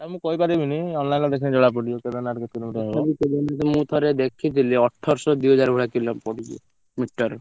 ଆଁ ମୁଁ କହିପାରିବିନି ଦେଖିଲେ ଜଣାପଡିଯିବ କେଦାରନାଥ କେତେ kilometre ହବ? ମୁଁ ଥରେ ଦେଖିଥିଲି ଅଠରଶହ ଦିହଜାର ଭଳିଆ kilo ପଡୁଛି metre